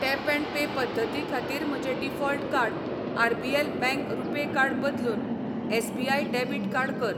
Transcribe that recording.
Tap and pay पद्दती खातीर म्हजें default card RBL bank RuPay card बदलून एस.बी.आय. डेबिट कार्ड कर.